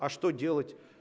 а что делать